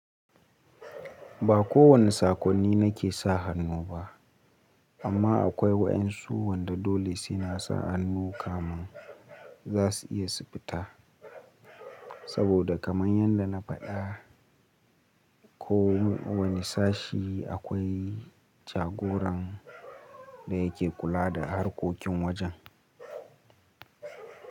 Ba kowane sakonni na ke sa hannu ba, amma akwai waƴan su wanda dole suna sa hannu kaman za su iya su fita. Saboda kamar yadda na faɗa ko wani sashi akwai jagoran da ya ke kula da harkokin wajen.